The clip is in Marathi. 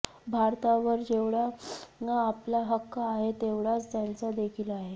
भारतावर जेवढा आपला हक्क आहे तेवढाच त्यांचा देखील आहे